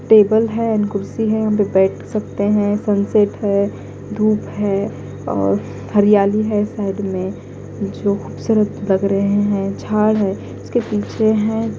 table हैं and कुर्सी हैं उनपे बैठ सकते हैं सनसेट हैं धूप हैं और हरियाली हैं साइड में जो खूबसूरत लग रहें हैं झाड़ हैं उसके पीछे हैं--